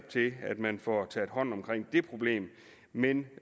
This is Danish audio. til at man får taget hånd om det problem men